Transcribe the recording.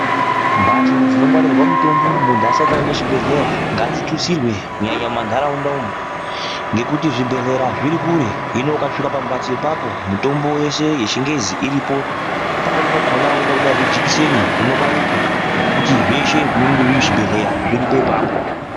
Mbatso dzinongwarirwa mitombo muntu asati aenda muchibhedhleya, ngadzitutsirwe kunyanya mumantaraunda umo, ngekuti zvibhedhlera zviri kure, zvino ukasvika pamphatso ipapo, mitombo yeshe yechingezi iripo. Pamweni pakhona weida kubairwe jikiseni unobairwa, ngekuti zveshe zvinenge zviri muchibhedhleya zviripo apapo.